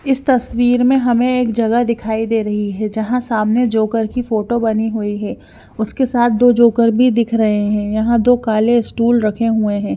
इस तस्वीर में हमें एक जगह दिखाई दे रही है जहां सामने जोकर की फोटो बनी हुई है उसके साथ दो जोकर भी दिख रहे है यहां दो काले स्टूल रखे हुए हैं।